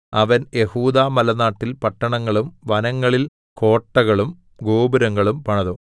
അവൻ യെഹൂദാമലനാട്ടിൽ പട്ടണങ്ങളും വനങ്ങളിൽ കോട്ടകളും ഗോപുരങ്ങളും പണിതു